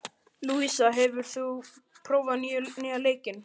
Lúísa, hefur þú prófað nýja leikinn?